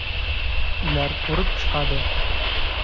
Ular ko‘rib chiqadi.